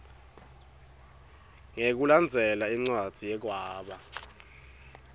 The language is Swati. ngekulandzela incwadzi yekwaba